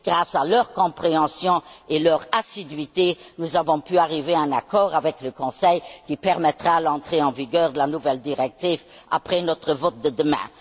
Grâce à leur compréhension et leur assiduité, nous avons pu arriver à un accord avec le Conseil, qui permettra l'entrée en vigueur de la nouvelle directive après notre vote de demain.